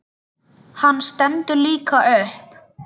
Hann stendur líka upp.